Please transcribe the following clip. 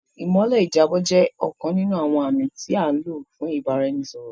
Ìmọ́lẹ̀ ìjábọ̀ jẹ́ ọ̀kan nínú àwọn àmì tí a lò fún ìbáraẹnisọ̀rọ̀